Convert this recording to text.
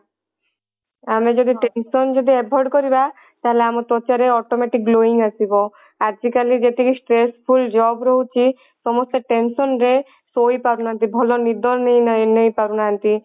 ଆମେ ଯଦି tension ଯଦି avoid କରିବା ତାହାଲେ ଆମ ତ୍ଵଚା ରେ automatic glowing ଆସିବ ଆଜି କାଲି ଯେତିକି stressful job ରହୁଛି ସମସ୍ତେ tension ରେ ଶୋଇପାରୁନାହାନ୍ତି ଭଲ ନିଦ ନାଇଁ ନେଇ ପାରୁନାହାନ୍ତି